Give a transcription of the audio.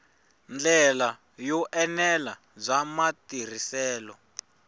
ndlela yo enela bya matirhiselo